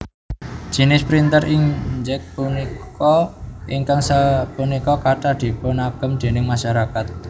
Jinis printer inkJet punika ingkang sapunika kathah dipunagem déning masyarakat